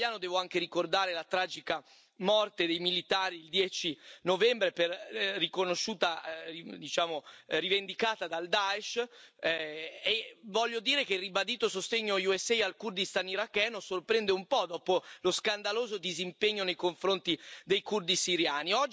Come italiano devo anche ricordare la tragica morte dei militari, il 10 novembre, rivendicata dal Daesh, e voglio dire che, ribadito il sostegno USA al Kurdistan iracheno, sorprende un po' dopo lo scandaloso disimpegno nei confronti dei curdi siriani.